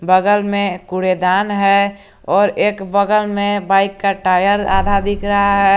बगल में कूड़ेदान है और एक बगल में बाइक का टायर आधा दिख रहा है।